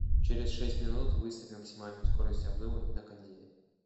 через шесть минут выставь максимальную скорость обдува на кондее